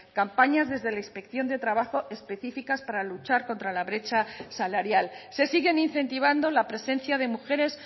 campañas desde la inspección de trabajo específicas para luchar contra la brecha salarial se siguen incentivando la presencia de mujeres